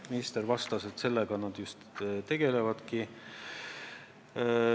Minister vastas, et sellega nad just tegelevadki.